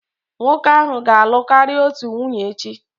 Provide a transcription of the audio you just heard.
Nwoke ahụ ga-alụ karịa otu nwunye echi.